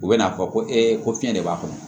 U bɛ n'a fɔ ko ko fiɲɛ de b'a kɔnɔ